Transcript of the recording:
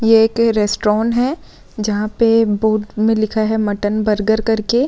ये एक रेस्ट्रोन है जहाँ पे बोर्ड पे लिखा है मटन बर्गर करके।